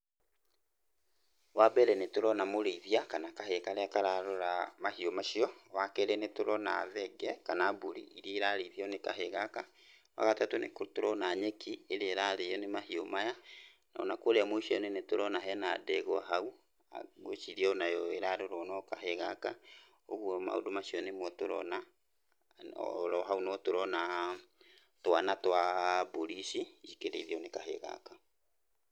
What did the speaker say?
Wa mbere nĩtũrona mũrĩithia kana kahĩ karĩa kararora mahiũ macio, wa kerĩ nĩ tũrona thenge kana mbũri irĩa irarĩithio nĩ kahĩ gaka, wa gatatũ nĩtũrona nyeki, ĩrĩa ĩrarĩyo nĩ mahiũ maya, o na kũrĩa mũico-inĩ nĩturona he na ndegwa hau, ngwiciria o na yo ĩrarorwo no kahĩ gaka, ũguo maũndũ macio nĩmotũrona o ro hau no tũrona twana twa mbũri ici cikĩrĩithio nĩ kahĩ gaka.